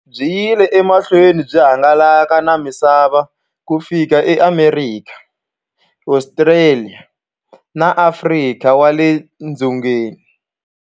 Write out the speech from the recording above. Byi yile emahlweni byi hangalaka na misava ku fika e Amerika, Ostraliya na Afrika wale dzongeni.